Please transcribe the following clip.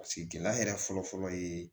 Paseke gɛlɛya yɛrɛ fɔlɔ fɔlɔ ye